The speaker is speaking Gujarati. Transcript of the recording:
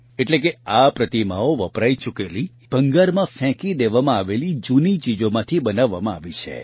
એટલે કે આ પ્રતિમાઓ વપરાઇ ચૂકેલી ભંગારમાં ફેંકી દેવામાં આવેલી જૂની ચીજોમાંથી બનાવવામાં આવી છે